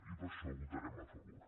i per això hi votarem a favor